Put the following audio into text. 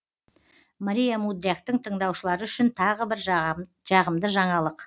мария мудряктың тыңдаушылары үшін тағы бір жағымды жаңалық